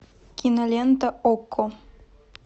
кинолента окко